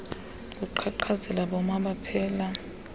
kuqhaqhazela boma baphela